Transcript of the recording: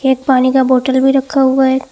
एक पानी का बोतल भी रखा हुआ है।